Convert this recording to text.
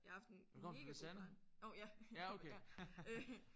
Jeg har haft en megagod barn ov ja ja øh